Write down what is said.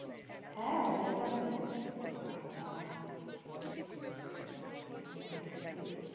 হ্যাঁ দেখলাম তো. বাবাঃ! মানে সত্যি.